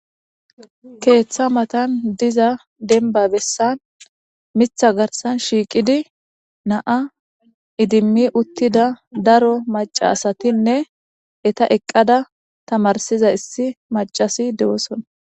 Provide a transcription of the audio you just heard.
Keeththa matan diza denba bessa mitha garsan shiiqidi naa idimmi uttida daro macasatinne eta eqqada tamarsiza issi macasi dewosona.